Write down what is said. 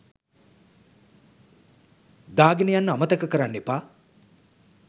දාගෙන යන්න අමතක කරන්න එපා.